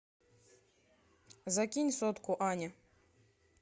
закинь сотку ане